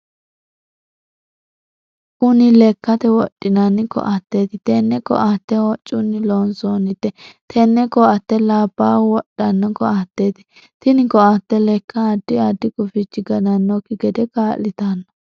Kunni lekate wodhinnanni koateeti. Tenne koate hocunni loonsoonnite. Tenne koate labaahu wodhano koateeti. Tinni koate leka addi addi gufichi gannanoki gede kaa'litano.